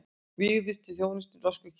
Vígjast til þjónustu í norsku kirkjunni